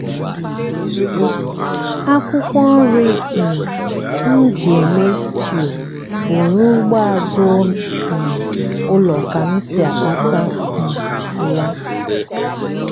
akwụkwọ nri um m ji eme stew bụ n'ugbo azụ um ụlọ ka m si akpata um ya.